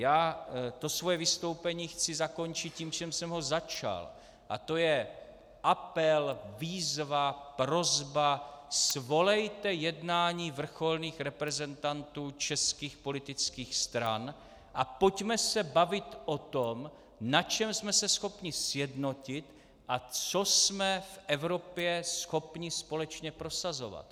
Já to svoje vystoupení chci zakončit tím, čím jsem ho začal, a to je apel, výzva, prosba: svolejte jednání vrcholných reprezentantů českých politických stran a pojďme se bavit o tom, na čem jsme se schopni sjednotit a co jsme v Evropě schopni společně prosazovat.